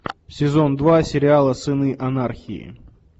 сезон два сериала сыны анархии